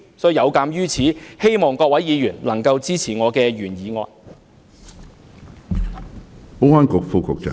有見及此，希望各位議員能夠支持我的原議案。